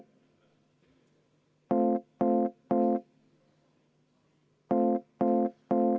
Henn Põlluaas, palun!